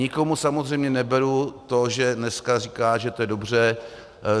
Nikomu samozřejmě neberu to, že dneska říká, že to je dobře.